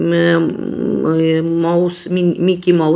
मम मा mouse Mickey mouse --